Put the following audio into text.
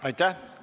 Aitäh!